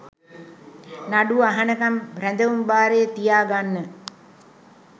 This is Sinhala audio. නඩුව අහනකම් රැදවුම් භාරයේ තියාගන්න